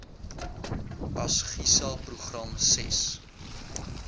asgisa program ses